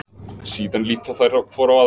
Síðan líta þær hvor á aðra.